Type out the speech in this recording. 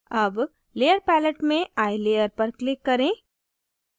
अब layer palette में eye layer पर click करें